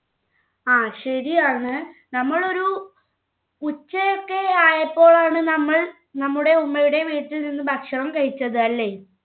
ആ ശരിയാണ് നമ്മൾ ഒരു ഉച്ച ഒക്കെ ആയപ്പോഴാണ് നമ്മൾ നമ്മുടെ ഉമ്മയുടെ വീട്ടിൽ നിന്ന് ഭക്ഷണം കഴിച്ചത് അല്ലെ